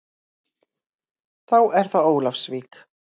Þá er það Ólafsvík.